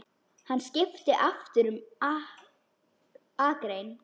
Hann skipti aftur um akrein.